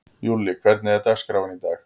Júlli, hvernig er dagskráin í dag?